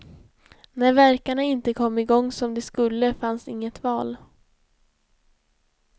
När värkarna inte kom igång som de skulle, fanns inget val.